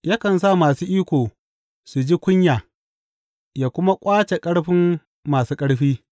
Yakan sa masu iko su ji kunya yă kuma ƙwace ƙarfin masu ƙarfi.